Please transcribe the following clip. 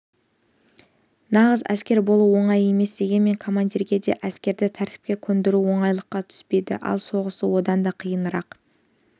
нағыз әскер болу оңай емес дегенмен командирге де әскерді тәртіпке көндіру оңайлыққа түспейді ал соғысу одан да қиынырақ